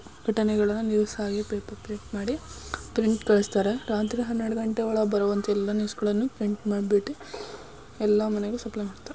ಘಟನೆಗಳನ್ನು ಸಾಗಬೇಕು. Paper print ಮಾಡಿ ಪ್ರಿಂಟ್ ಕಲಿಸುತ್ತಾರೆ. ರಾತ್ರಿ ಹನ್ನೆರಡು ಘಂಟೆಗಳ ಬರುವಂತಿಲ್ಲ ನ್ಯೂಸ್ ಗಳನ್ನು ಪ್ರಿಂಟ್ ಮಾಡಿ ಬಿಟ್ಟು ಎಲ್ಲ ಮನೆಗೆ ಸಪ್ಲೈ ಹಾಕ್ತಾನ್.